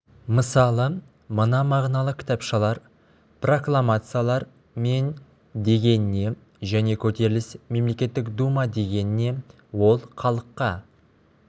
мысалы мына мағыналы кітапшалар прокламациялар мен деген не және көтеріліс мемлекеттік дума деген не ол халыққа